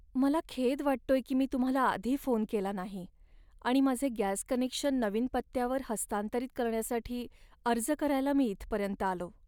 मला खेद वाटतोय की मी तुम्हाला आधी फोन केला नाही आणि माझे गॅस कनेक्शन नवीन पत्त्यावर हस्तांतरित करण्यासाठी अर्ज करायला मी इथपर्यंत आलो.